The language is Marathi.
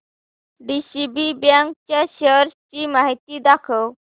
डीसीबी बँक च्या शेअर्स ची माहिती दाखव